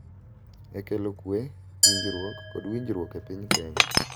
E kelo kwe, winjruok, kod winjruok e piny Kenya.